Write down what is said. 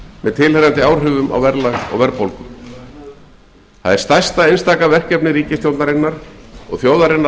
með tilheyrandi áhrifum á verðlag og verðbólgu ég tel það vera stærsta einstaka verkefni ríkisstjórnarinnar og þjóðarinnar allrar